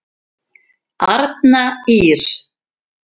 Arna Ýrr.